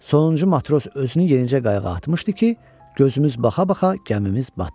Sonuncu matros özünü yenicə qayığa atmışdı ki, gözümüz baxa-baxa gəmimiz batdı.